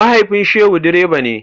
Mahaifin Shehu direba ne.